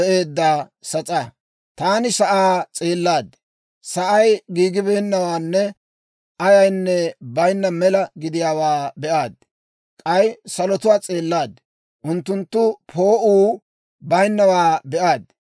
Taani sa'aa s'eellaad; sa'ay giigibeennawaanne ayaynne bayinna mela gidiyaawaa be'aad. K'ay salotuwaa s'eellaad; unttunttun poo'uu bayinnawaa be'aad.